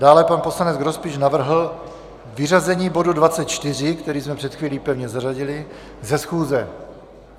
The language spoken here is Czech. Dále pan poslanec Grospič navrhl vyřazení bodu 24, který jsme před chvílí pevně zařadili, ze schůze.